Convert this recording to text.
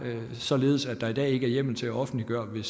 således at der i dag ikke er hjemmel til at offentliggøre det